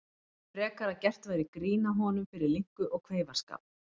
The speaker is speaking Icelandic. Frekar að gert væri grín að honum fyrir linku og kveifarskap.